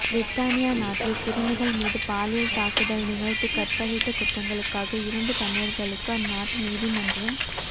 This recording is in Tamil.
பிரித்தானிய நாட்டில் சிறுமிகள் மீது பாலியல் தாக்குதல் நிகழ்த்தி கற்பழித்த குற்றங்களுக்காக இரண்டு தமிழர்களுக்கு அந்நாட்டு நீதிமன்றம்